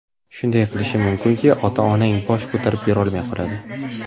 Shunday qilishim mumkinki, ota-onang bosh ko‘tarib yurolmay qoladi.